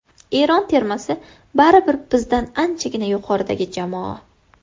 Eron termasi baribir bizdan anchagina yuqoridagi jamoa.